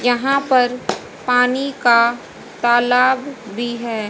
यहां पर पानी का तालाब भी है।